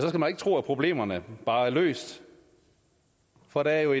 man ikke tro at problemerne bare er løst for der er jo